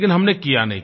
लेकिन हमने किया नहीं